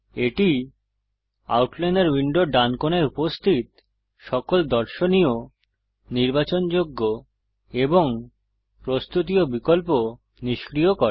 এটি আউটলাইনর উইন্ডোর ডান কোনায় উপস্থিত সকল দর্শনীয় নির্বাচনযোগ্য এবং প্রস্তুতীয় বিকল্প নিষ্ক্রিয় করে